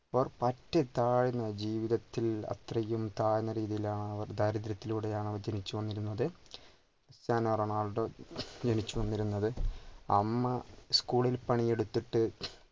പറ്റു താഴ്ന്ന ജീവിതത്തിൽ അത്രയും താഴ്ന്ന രീതിയിൽ ആണ് അവർ ദരിത്രത്തിലൂടെ ആണ് അവർ ജനിച്ചു വന്നിരുന്നത് ക്രിസ്റ്റ്യാനോ റൊണാൾഡോ ജനിച്ചു വന്നിരുന്നത് അമ്മ school ഇൽ പണി എടുത്തിട്ട്